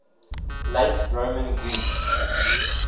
late roman greece